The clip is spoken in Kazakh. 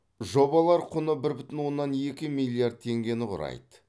жобалар құны бір бүтін оннан екі милиард теңгені құрайды